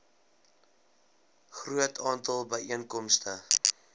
groot aantal byeenkomste